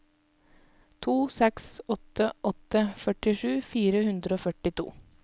to seks åtte åtte førtisju fire hundre og førtito